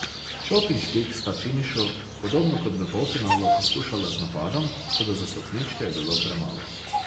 Čop in Špik sta v finišu, podobno kot v polfinalu, poskušala z napadom, toda za stopničke je bilo premalo.